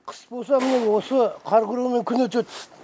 қыс болса міне осы қар күреумен күн өтеді